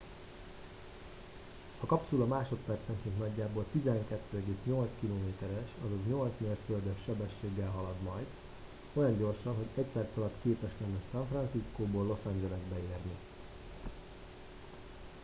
a kapszula másodpercenként nagyjából 12,8 km es azaz 8 mérföldes sebességgel halad majd olyan gyorsan hogy egy perc alatt képes lenne san franciscóból los angelesbe érni